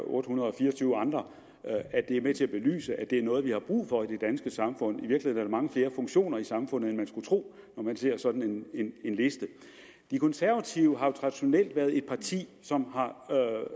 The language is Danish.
otte hundrede og fire og tyve andre er med til at belyse at det er noget vi har brug for i det danske samfund i virkeligheden mange flere funktioner i samfundet end man skulle tro når man ser sådan en liste de konservative har traditionelt været et parti som